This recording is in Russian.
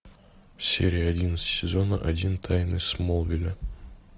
серия одиннадцать сезона один тайны смолвиля